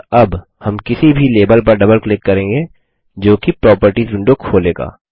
और अब हम किसी भी लेबल पर डबल क्लिक करेंगे जोकि प्रॉपर्टीज विंडो खोलेगा